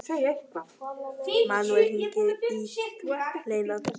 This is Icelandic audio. Manuel, hringdu í Hleinar.